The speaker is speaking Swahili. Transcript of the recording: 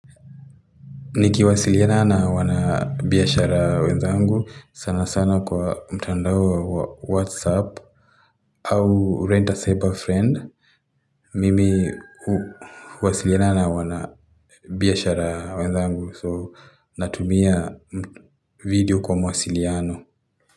Nikiwasiliana na wanabiashara wenzangu sana sana kwa mtandao wa whatsapp au rent a cyber friend. Mimi huwasiliana na wanabiashara wenzangu so natumia video kwa mawasiliano.